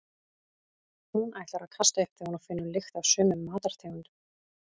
Hún ætlar að kasta upp þegar hún finnur lykt af sumum matartegundum.